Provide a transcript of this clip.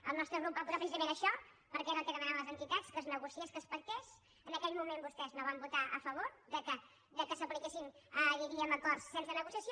el nostre grup va posar precisament això perquè era el que demanaven les entitats que es negociés que es pactés en aquell moment vostès no van votar a favor que s’apliquessin diríem acords sense negociació